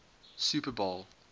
super bowl